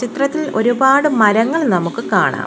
ചിത്രത്തിൽ ഒരുപാട് മരങ്ങൾ നമുക്ക് കാണാം.